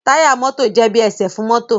Táyà mọ́tò jé bí esè fún mọ́tò.